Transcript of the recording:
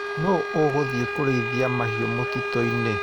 Nũ ũgũthĩi kũrĩithia mahiũ mũtitũinĩ.